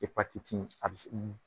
Epatiti in a bɛ se